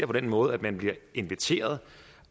på den måde at man bliver inviteret